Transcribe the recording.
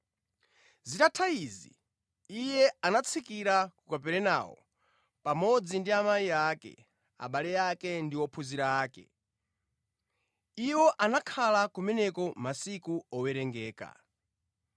Zitatha izi Iye anatsikira ku Kaperenawo pamodzi ndi amayi ake, abale ake ndi ophunzira ake. Iwo anakhala kumeneko masiku owerengeka.